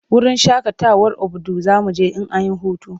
Wurin shakatawar Obudu za mu je in an yi hutu.